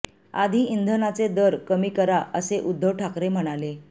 आधी इंधनाचे दर कमी करा असे उद्धव ठाकरे म्हणाले